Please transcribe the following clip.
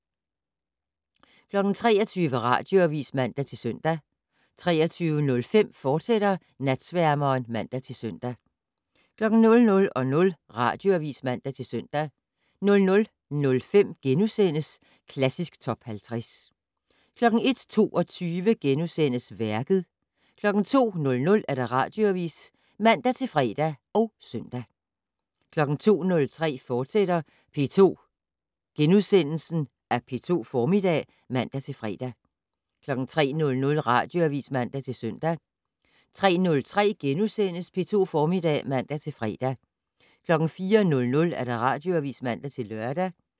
23:00: Radioavis (man-søn) 23:05: Natsværmeren, fortsat (man-søn) 00:00: Radioavis (man-søn) 00:05: Klassisk Top 50 * 01:22: Værket * 02:00: Radioavis (man-fre og søn) 02:03: P2 Formiddag *(man-fre) 03:00: Radioavis (man-søn) 03:03: P2 Formiddag *(man-fre) 04:00: Radioavis (man-lør)